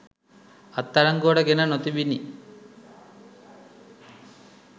අත්අඩංගුවට ගෙන නොතිබිණි.